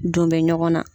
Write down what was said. Don bɛ ɲɔgɔn na